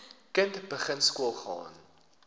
kind begin skoolgaan